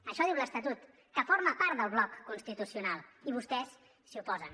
això ho diu l’estatut que forma part del bloc constitucional i vostès s’hi oposen